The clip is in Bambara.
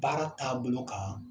Baara taabolo kan